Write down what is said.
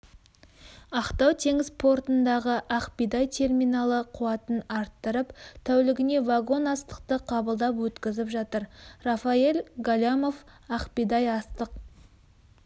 ақтау теңіз портындағы ақбидай терминалы қуатын арттырып тәулігіне вагон астықты қабылдап-өткізіп жатыр рафаэль галямов ақбидай астық